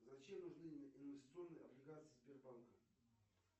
зачем нужны инвестиционные облигации сбербанка